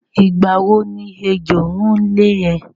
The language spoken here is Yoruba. Ìgbà wo ni ẹjọ́ ń lé ẹ?